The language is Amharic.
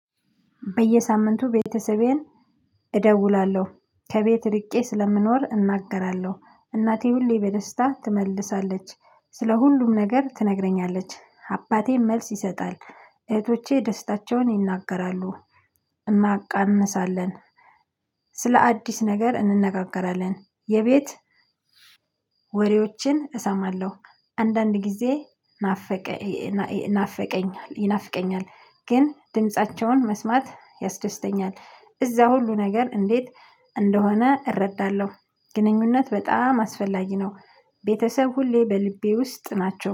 በየሳምንቱ ቤተሰቤን እደውላለሁ ከቤት ርቄ ስለምኖር እናገራለሁ እናቴ ሁሌ በደስታ ትመልሳለች ስለ ሁሉም ነገር ትነግረኛለች አባቴም መልስ ይሰጣል እህቶቼ ደስታቸውን ይናገራሉ። እናቃምሳለን። ስለ አዲስ ነገር እንነጋገራለን የቤት ወሬዎችን እሰማለሁ። አንዳንድ ጊዜ። ናፍቀኝ ይናፍቀኛል ግን ድምፃቸውን መስማት ያስደስተኛል እዛ ሁሉ ነገር እንዴት እንደሆነ እረዳለሁ። ግንኙነት በጣም አስፈላጊ ነው። ቤተሰብ ሁሌ በልቤ ውስጥ ናቸው